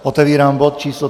Otevírám bod číslo